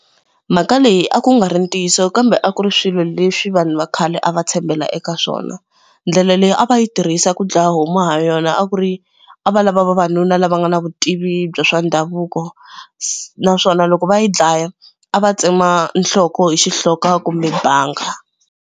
Mhaka leyi a ku nga ri ntiyiso kambe a ku ri swilo leswi vanhu va khale a va tshembela eka swona. Ndlela leyi a va yi tirhisa ku dlaya homu ha yona a ku ri a va lava vavanuna lava nga na vutivi bya swa ndhavuko naswona loko va yi dlaya a va tsema nhloko hi xihloka kumbe banga.